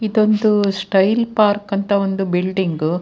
ಇದೊಂದು style park ಅಂತ ಒಂದು ಬಿಲ್ಡಿಂಗ್ .